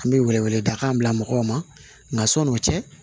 An bɛ wele wele dakan bila mɔgɔw ma nka sɔn'o cɛ